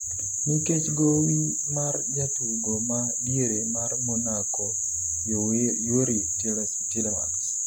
nikech gowi mar jatugo ma diere mar Monaco Youri Tielemans